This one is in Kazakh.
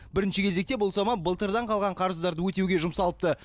бірінше кезекте бұл сома былтырдан қалған қарызды өтеуге жұмсалыпты